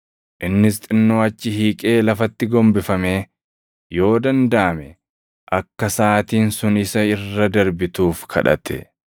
Innis xinnoo achi hiiqee lafatti gombifamee, yoo dandaʼame akka saʼaatiin sun isa irra darbituuf kadhate.